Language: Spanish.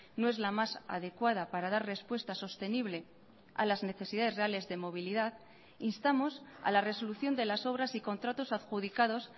no es la más adecuada para dar respuesta sostenible a las necesidades reales de movilidad instamos a la resolución de las obras y contratos adjudicados